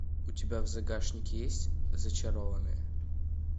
у тебя в загашнике есть зачарованные